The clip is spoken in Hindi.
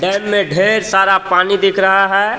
डेम में ढेर सारा पानी दिख रहा है.